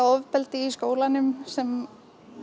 ofbeldi í skólanum sem